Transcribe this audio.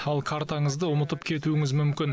ал картаңызды ұмытып кетуіңіз мүмкін